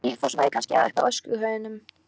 Við Nesti í Fossvogi kannski, eða uppi á öskuhaugum.